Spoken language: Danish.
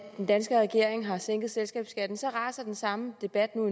den danske regering har sænket selskabsskattesatsen raser den samme debat nu